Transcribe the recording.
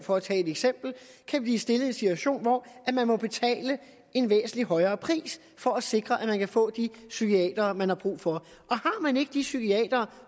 for at tage et eksempel kan blive stillet i en situation hvor man må betale en væsentlig højere pris for at sikre at man kan få de psykiatere man har brug for og har man ikke de psykiatere